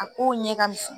A kow ɲɛ ka misɛn